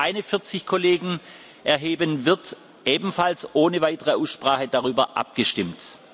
Wenn sich keine 40 Kollegen erheben, wird, ebenfalls ohne weitere Aussprache, darüber abgestimmt.